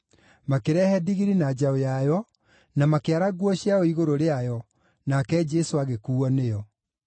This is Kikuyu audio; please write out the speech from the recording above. Makĩrehe ndigiri na njaũ yayo, na makĩara nguo ciao igũrũ rĩayo, nake Jesũ agĩkuuo nĩyo.